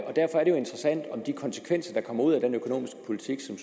og derfor er det jo interessant om de konsekvenser der kommer ud af den økonomiske politik som